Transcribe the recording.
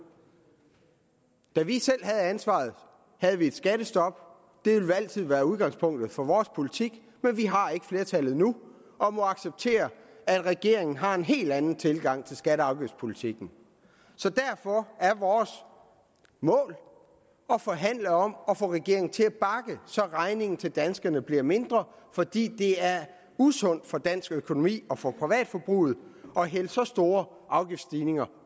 da vi selv havde ansvaret havde vi et skattestop det vil altid være udgangspunktet for vores politik men vi har ikke flertallet nu og må acceptere at regeringen har en helt anden tilgang til skatte og afgiftspolitikken derfor er vores mål at forhandle om at få regeringen til at bakke så regningen til danskerne bliver mindre fordi det er usundt for dansk økonomi og for privatforbruget at hælde så store afgiftsstigninger